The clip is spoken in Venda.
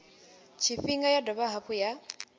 tshifhinga ya dovha hafhu ya